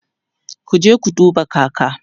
kuje ku duba kaka!